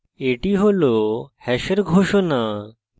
এটি hash hash ঘোষণা